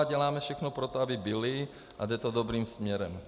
A děláme všechno pro to, aby byly, a jde to dobrým směrem.